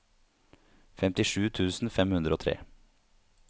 femtisju tusen fem hundre og tre